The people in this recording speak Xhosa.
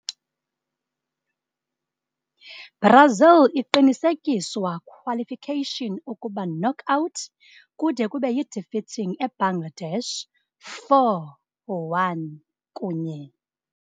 - Brazil iqinisekiswa qualification ukuba knockout kude kube yi-defeating Ebangladesh 4-1 kunye